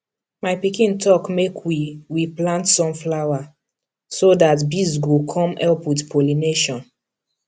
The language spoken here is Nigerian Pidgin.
my pikin talk make we we plant sunflower so that bees go come help with pollination